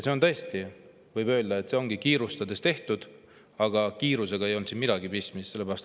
Selle kohta võib öelda, et see ongi kiirustades tehtud, aga kiirusega ei olnud siin midagi pistmist.